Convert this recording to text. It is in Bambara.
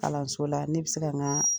Kalanso la ne bɛ se k'a n ka